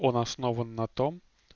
он основан на том